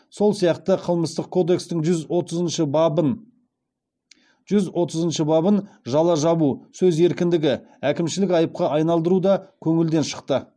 сол сияқты қылмыстық кодекстің жүз отызыншы бабын әкімшілік айыпқа айналдыру да көңілден шықты